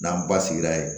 N'an ba sigila ye